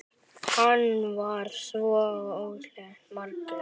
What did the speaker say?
Hann var svo ótal margt.